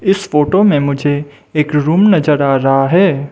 इस फोटो में मुझे एक रूम नजर आ रहा है।